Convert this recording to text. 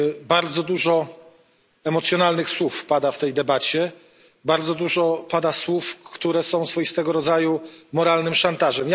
Bardzo dużo emocjonalnych słów pada w tej debacie, bardzo dużo pada słów, które są swoistego rodzaju moralnym szantażem.